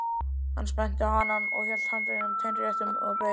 Hann spennti hanann og hélt handleggnum teinréttum og beið.